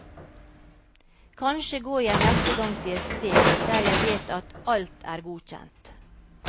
Kanskje går jeg neste gang til et sted der jeg vet at alt er godkjent.